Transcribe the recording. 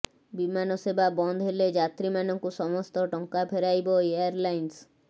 ବିମାନ ସେବା ବନ୍ଦ ହେଲେ ଯାତ୍ରୀମାନଙ୍କୁ ସମସ୍ତ ଟଙ୍କା ଫେରାଇବା ଏୟାର ଲାଇନ୍ସ